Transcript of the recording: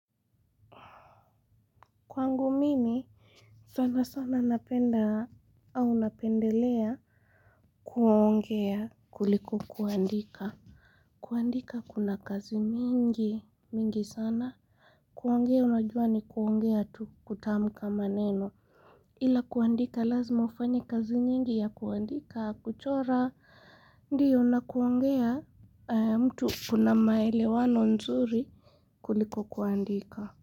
Kwangu mimi, sana sana napenda au napendelea kuongea kuliko kuandika. Kuandika kuna kazi mingi, mingi sana. Kuongea unajua ni kuongea tu kutamka maneno. Ila kuandika lazima ufanye kazi nyingi ya kuandika, kuchora, ndio na kuongea mtu kuna maelewano nzuri kuliko kuandika.